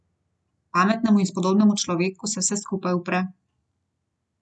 Pametnemu in spodobnemu človeku se vse skupaj upre.